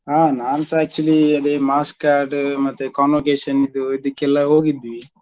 ಹಾ ನಾನ್ಸ actually ಅದೇ markscard ಮತ್ತೆ convocation ದ್ದು ಇದೆಕ್ಕೆಲ್ಲ ಹೋಗಿದ್ವಿ.